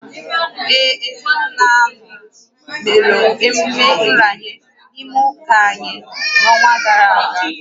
Ee, ezinụlọ anọ mere emume nranye n’ime ụka anyị n’ọnwa gara aga